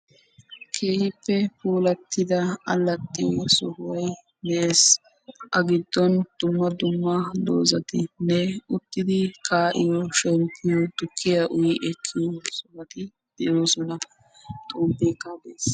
keehippe puulattida alaxxiyo sohoy de'ees; a giddon dumma dumma doozatinne uttidi kaa'iyo shemppiyo tukkiya uyyi ekkiyo sohoti de'oosona; xomppekka de'ees.